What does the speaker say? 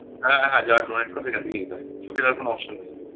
হ্যাঁ হ্যাঁ যারা donate করে সেখান থেকে নিতে হয় চোখের আর কোনো option নেই